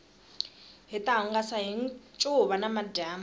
hita hungasa hi ncuva namadyambu